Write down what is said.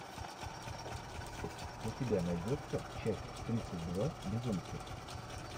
у тебя найдется часть тридцать два безумцы